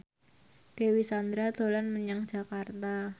Dewi Sandra dolan menyang Jakarta